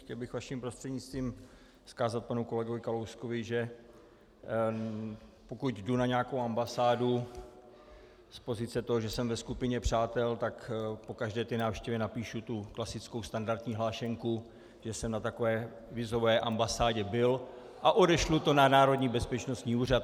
Chtěl bych vaším prostřednictvím vzkázat panu kolegovi Kalouskovi, že pokud jdu na nějakou ambasádu z pozice toho, že jsem ve skupině přátel, tak po každé té návštěvě napíšu tu klasickou standardní hlášenku, že jsem na takové vízové ambasádě byl a odešlu to na Národní bezpečnostní úřad.